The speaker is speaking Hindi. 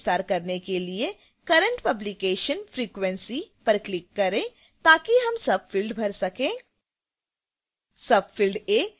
tag का विस्तार करने के लिए current publication frequency पर click करें ताकि हम subफ़िल्ड भर सकें